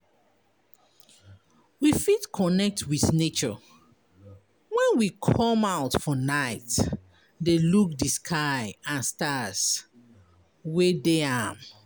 We fit connect with nature when we come out for night de look di sky and stars wey de am